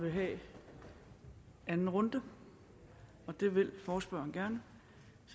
vil have anden runde det vil forespørgeren gerne